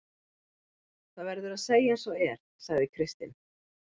Það verður að segja eins og er, sagði Kristinn.